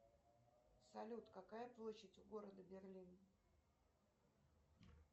салют какая площадь у города берлин